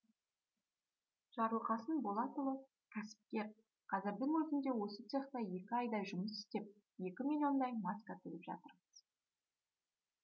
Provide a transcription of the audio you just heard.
жарылқасын болатұлы кәсіпкер қазірдің өзінде осы цехта екі айдай жұмыс істеп екі миллиондай маска тігіп жатырмыз